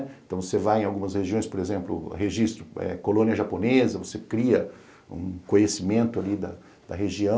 Então você vai em algumas regiões, por exemplo, registro eh colônia japonesa, você cria um conhecimento ali da região,